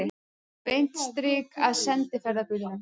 Beint strik að sendiferðabílnum.